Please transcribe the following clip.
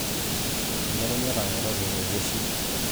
Elukuny'a etang'oroki ilo jeshi